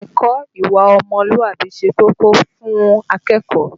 Ẹ̀kọ́ ìwà ọmọlúwàbí ṣe kókó fún akẹ́kọ̀ọ́.